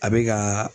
A bɛ ka